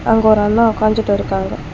அங்க ஒரு அண்ணா ஒக்காஞ்சுட்டு இருக்காங்க.